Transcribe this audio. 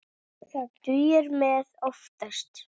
Það dugir mér oftast.